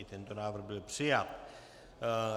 I tento návrh byl přijat.